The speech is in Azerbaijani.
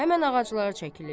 Həmən ağaclara çəkilirlər.